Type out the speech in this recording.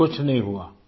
کچھ نہیں ہوا